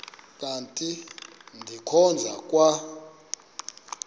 kanti ndikhonza kwa